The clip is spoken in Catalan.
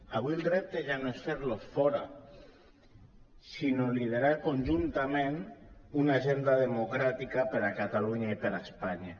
avui el repte ja no és fer lo fora sinó liderar conjuntament una agenda democràtica per a catalunya i per a espanya